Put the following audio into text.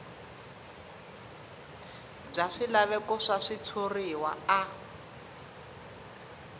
bya swilaveko swa switshuriwa a